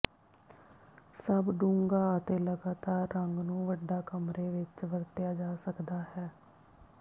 ਸਭ ਡੂੰਘਾ ਅਤੇ ਲਗਾਤਾਰ ਰੰਗ ਨੂੰ ਵੱਡਾ ਕਮਰੇ ਵਿੱਚ ਵਰਤਿਆ ਜਾ ਸਕਦਾ ਹੈ